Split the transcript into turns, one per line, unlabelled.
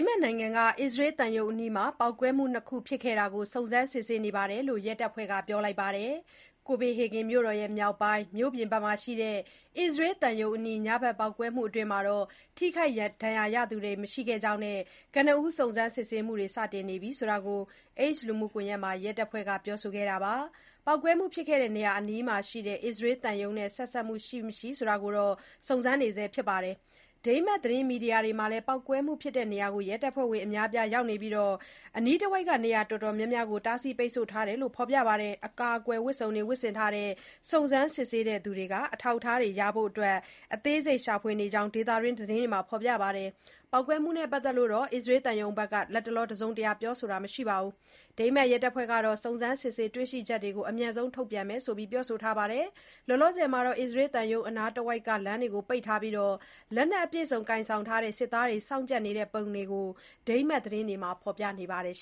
မတ်နိုင်ငံက အစ္စရေးသံရုံးအနီး ပေါက်ကွဲမှု ၂ ခု ဖြစ်ခဲ့တာကို စုံစမ်းစစ်ဆေးနေကြောင်း ရဲတပ်ဖွဲ့က ပြောလိုက်ပါတယ်။ Copenhagen မြို့တော် မြောက်ပိုင်း မြို့ပြင်ဖက်မှာရှိတဲ့ အစ္စရေးသံရုံးအနီး ညဖက် ပေါက်ကွဲမှုအတွင်း ထိခိုက်ဒဏ်ရာရသူတော့ မရှိခဲ့ကြောင်းနဲ့ ကနဦးစုံစမ်းမှုတွေ စတင်နေပြီလို့လည်း X လူမှုကွန်ရက်မှာ ရဲတပ်ဖွဲ့က ပြောဆိုခဲ့တာပါ။ ပေါက်ကွဲမှုဖြစ်တဲ့ နေရာအနီးမှာ ရှိနေတဲ့ အစ္စရေးသံရုံးနဲ့ ဆက်စပ်မှုရှိ၊ မရှိ စုံစမ်းနေတယ်လို့လည်း ပြောပါတယ်။ ဒိန်းမတ် သတင်းမီဒီယာတွေမှာလည်း ပေါက်ကွဲမှုဖြစ်တဲ့နေရာမှာ ရဲတပ်ဖွဲ့ဝင် အများအပြား ရောက်နေပြီး အနီးတဝိုက် နေရာတော်တော်များများကို တားဆီးပိတ်ဆို့ ထားတယ်လို့လည်း ဖော်ပြကြပါတယ်။ အကာအကွယ် ဝတ်စုံတွေ ဝတ်ဆင်ထားတဲ့ စုံစမ်းစစ်ဆေးသူတွေဟာ အထောက်အထားတွေရဖို့ အသေးစိတ် ရှာဖွေနေကြောင်းလည်း ဒေသခံသတင်းတွေမှာ ဖော်ပြနေကြတာပါ။ ပေါက်ကွဲမှုနဲ့ ပတ်သက်လို့ အစ္စရေးသံရုံးကတော့ လတ်တလော တစုံတရာ ပြောဆိုတာ မရှိသေးပါဘူး။ ဒိန်းမတ်ရဲတပ်ဖွဲ့ကတော့ နစုံစမ်းစစ်ဆေးတွေ့ရှိချက်တွေကို အမြန်ဆုံး ထုတ်ပြန်မှာဖြစ်ကြောင်း ပြောဆိုထားတာပါ။ အစ္စရေးသံရုံးအနားတဝိုက်လမ်းတွေကို ပိတ်ထားပြီး၊ လက်နက်အပြည့်အစုံ ကိုင်ဆောင်ထားတဲ့ စစ်သားတွေ စောင့်ကြပ်နေတဲ့ပုံတွေကိုလည်း ဒိန်းမတ် သတင်းတွေမှာ ဖော်ပြနေပါတယ်။